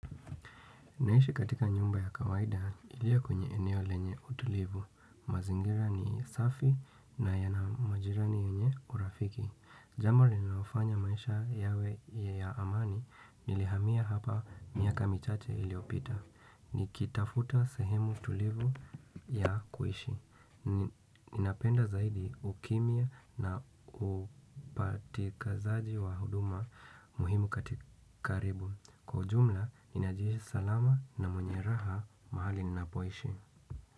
Naishi katika nyumba ya kawaida ilio kwenye eneo lenye utulivu. Mazingira ni safi na yana majirani wenye urafiki. Jambo rinalofanya maisha yawe ya amani nilihamia hapa miaka michache iliopita. Nikitafuta sehemu tulivu ya kuishi. Ninapenda zaidi ukimya na upatikazaji wa huduma muhimu kati karibu. Kwa ujumla, ninajihisi salama na mwenye raha mahali ninapoishi.